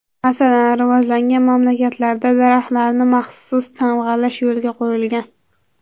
Masalan, rivojlangan mamlakatlarda daraxtlarni maxsus tamg‘alash yo‘lga qo‘yilgan.